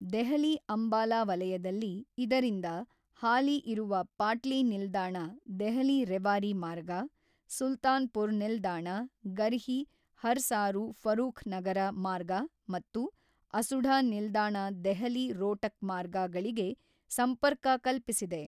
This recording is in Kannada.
ದೆಹಲಿ ಅಂಬಾಲಾ ವಲಯದಲ್ಲಿ ಇದರಿಂದ ಹಾಲಿ ಇರುವ ಪಾಟ್ಲಿ ನಿಲ್ದಾಣ ದೆಹಲಿ ರೆವಾರಿ ಮಾರ್ಗ, ಸುಲ್ತಾನ್ ಪುರ್ ನಿಲ್ದಾಣ ಗರ್ಹಿ ಹರ್ಸಾರು ಫರೂಖ್ ನಗರ ಮಾರ್ಗ ಮತ್ತು ಅಸುಢ ನಿಲ್ದಾಣ ದೆಹಲಿ ರೋಟಕ್ ಮಾರ್ಗ ಗಳಿಗೆ ಸಂಪರ್ಕ ಕಲ್ಪಿಸಲಿದೆ.